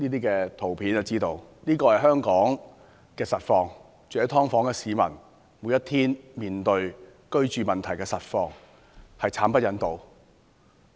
這就是香港的實況，就是住在"劏房"的市民，每天的居住實況，實在慘不忍睹。